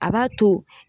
A b'a to